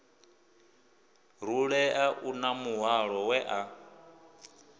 rulea uḽa muhwalo we a